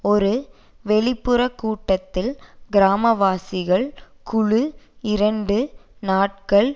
ஒரு வெளிப்புற கூட்டத்தில் கிராமவாசிகள் குழு இரண்டு நாட்கள்